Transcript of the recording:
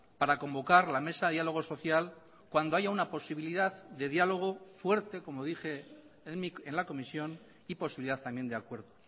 para convocar la mesa de dialogo social cuando haya una posibilidad de diálogo fuerte como dije en la comisión y posibilidad también de acuerdo